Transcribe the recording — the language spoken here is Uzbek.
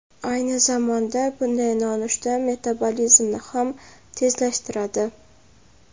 Ayni zamonda bunday nonushta metabolizmni ham tezlashtiradi.